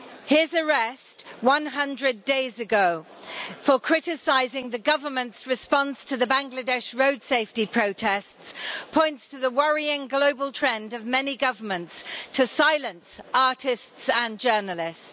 His arrest, 100 days ago, for criticising the government's response to the Bangladesh road safety protests, points to the worrying global trend of many governments to silence artists and journalists.